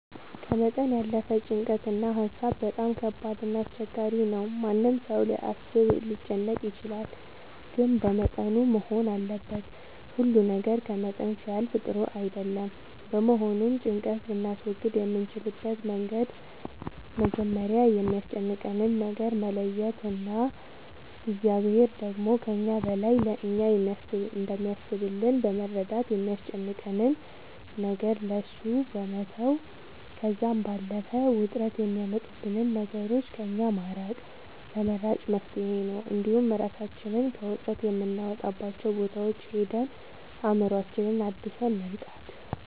ከመጠን ያለፈ ጭንቀት እና ሀሳብ በጣም ከባድ እና አስቸጋሪ ነው ማንም ሰው ሊያስብ ሊጨነቅ ይችላል ግን በመጠኑ መሆን አለበት ሁሉ ነገር ከመጠን ሲያልፍ ጥሩ አይደለም በመሆኑም ጭንቀት ልናስወግድ የምንችልበት መንገድ መጀመሪያ የሚያስጨንቀንን ነገር መለየት እና እግዚአብሔር ደግሞ ከእኛ በላይ ለእኛ እንደሚያስብልን በመረዳት የሚያስጨንቀንን ነገር ለእሱ መተው ከዛም ባለፈ ውጥረት የሚያመጡብንን ነገሮች ከእኛ ማራቅ ተመራጭ መፍትሄ ነው እንዲሁም እራሳችንን ከውጥረት የምናወጣባቸው ቦታዎች ሄደን አእምሮአችንን አድሰን መምጣት